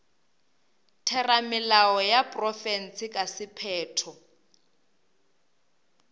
theramelao ya profense ka sephetho